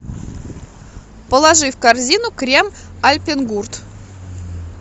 положи в корзину крем альпенгурт